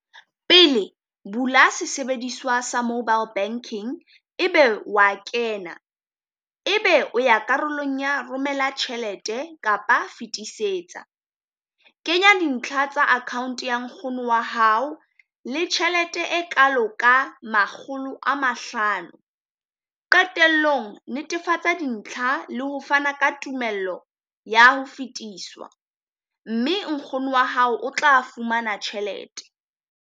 Pele bula sesebediswa sa Mobile Banking ebe wa kena, ebe o ya karolong ya romela tjhelete kapa fetisetsa. Kenya dintlha tsa account ya nkgono wa hao le tjhelete e kalo ka makgolo a mahlano. Qetellong netefatsa dintlha le ho fana ka tumello ya ho fetiswa, mme nkgono wa hao o tla fumana tjhelete.